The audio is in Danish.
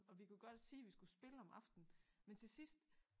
Og vi kunne godt sige vi skulle spille om aftenen men til sidst